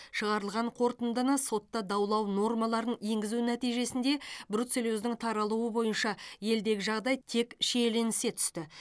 шығарылған қорытындыны сотта даулау нормаларын енгізу нәтижесінде бруцеллездің таралуы бойынша елдегі жағдай тек шиеленісе түсті